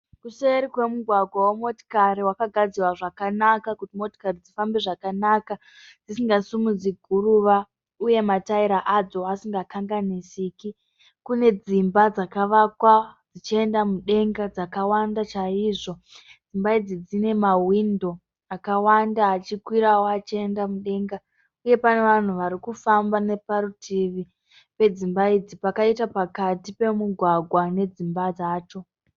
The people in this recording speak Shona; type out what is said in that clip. Kuseri kwemugwagwa wemotikari wakagadzirwa zvakanaka kuti motikari dzifambe zvakanaka dzisingasimudzi guruva uye matayira adzo asingakanganisiki, kune dzimba dzakavakwa dzichienda mudenga dzakawanda chaizvo. Dzimba idzi dzine mahwindo akawanda achikwiravo achienda mudenga uye pane vanhu varikufamba pakaita parutivi pedzimba idzi pakaita pakati pemugwagwa nedzimba dzacho.